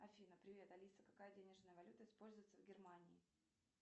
афина привет алиса какая денежная валюта используется в германии